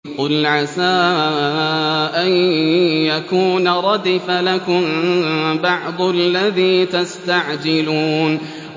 قُلْ عَسَىٰ أَن يَكُونَ رَدِفَ لَكُم بَعْضُ الَّذِي تَسْتَعْجِلُونَ